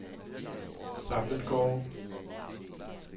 Samletgårde